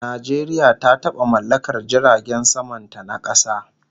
Najeriya ta taba mallakar jiragen saman ta na kasa